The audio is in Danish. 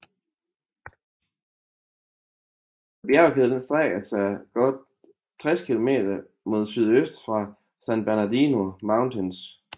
Bjergkæden strækker sig godt 60 km mod sydøst fra San Bernardino Mountains